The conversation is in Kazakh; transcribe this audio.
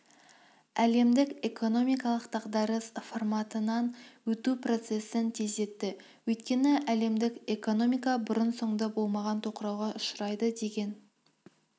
әлемдік экономикалық дағдарыс форматынан өту процесін тездетті өйткені әлемдік экономика бұрын-соңды болмаған тоқырауға ұшырайды деген